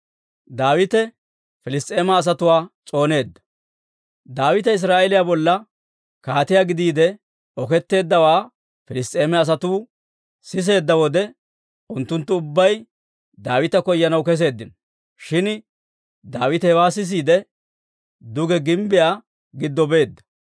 Daawite Israa'eeliyaa bolla kaatiyaa gidiide oketteeddawaa Piliss's'eema asatuu siseedda wode, unttunttu ubbay Daawita koyanaw keseeddino; shin Daawite hewaa sisiide, duge gimbbiyaa giddo beedda.